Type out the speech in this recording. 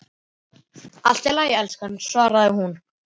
Allt í lagi, elskan, svaraði hún.